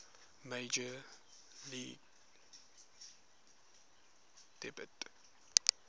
major league debut